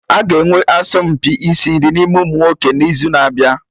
Aga enwe asọmpi isi nri n'ime ụmụnwoke n'izu na-abịa